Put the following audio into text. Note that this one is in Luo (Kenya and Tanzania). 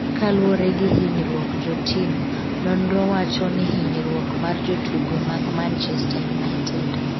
kaluwore gi hinyruok, jo tim nonro wacho ni hinyruok mar jotugo mag Manchester United